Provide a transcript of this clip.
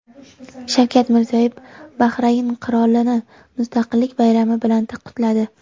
Shavkat Mirziyoyev Bahrayn qirolini Mustaqillik bayrami bilan qutladi.